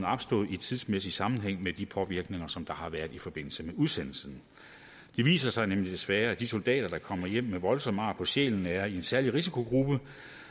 opstået i tidsmæssig sammenhæng med de påvirkninger som der har været i forbindelse med udsendelsen det viser sig nemlig desværre at de soldater der kommer hjem med voldsomme ar på sjælen er i en særlig risikogruppe og